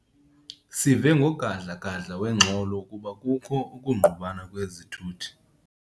Sive ngogadla-gadla wengxolo ukuba kukho ukungqubana kwezithuthi.